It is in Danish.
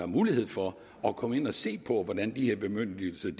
mulighed for at komme ind og se på hvordan de her bemyndigelser